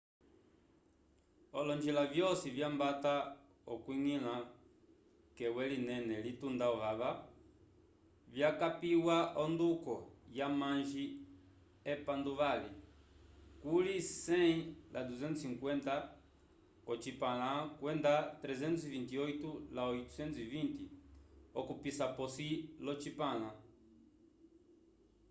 olonjila vyosi vyambata okwiñgila k’ewe linene litunda ovava vyakapiwa onduko ya amanji epanduvali” kuli 100 la 250 k’ocipãla kwenda 328 la 820 okupisa p’osi lyocipãla